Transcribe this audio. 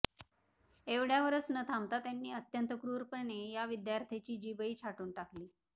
एवढ्यावरच न थांबता त्यांनी अत्यंत क्रूरपणे या विद्यार्थ्याची जीभही छाटून टाकली